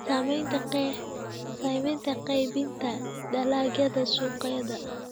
Saamaynta qaybinta dalagyada suuqyada.